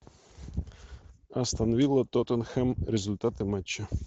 астон вилла тоттенхэм результаты матча